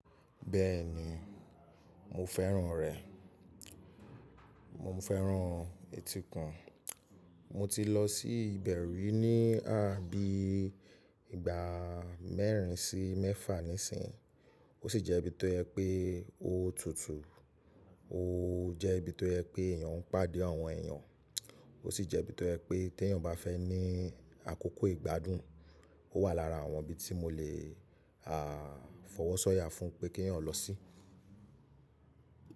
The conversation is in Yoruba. Bẹ́ẹ̀ni, mo fẹ́ràn rẹ̀. Mo fẹ́ràn etíkun. Mo ti lọ sí ìbẹ̀ rí ní à, bí ìgbà mẹ́rin sí mẹ́fà nísinyíi. Ó sì jẹ́ ibi tó yẹ pé ó tutù, ó jẹ́ ibi tó yẹ pé èèyàn ń pàdé àwọn èèyàn, ó sì jẹ́ ibi tó yẹ pé tí èèyàn bá fẹ́ ní àkókò ìgbádùn, ó wà lára àwọn ibi tí mo lè à fọwọ́ sọ́ya fún pé kí èèyàn lọ sí.